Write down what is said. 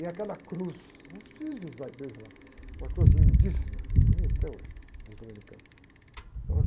E aquela cruz, vocês precisam visitar a igreja lá, uma cruz lindíssima, bonita até hoje, dos dominicanos, é ouro.